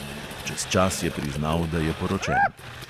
Čez čas je priznal, da je poročen.